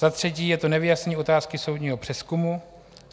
Za třetí je to nevyjasnění otázky soudního přezkumu.